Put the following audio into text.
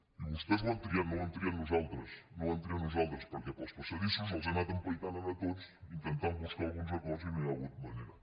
i vostès ho han triat no ho hem triat nosaltres no ho hem triat nosaltres perquè pels passadissos els he anat empaitant a tots in·tentant buscar alguns acords i no hi ha hagut manera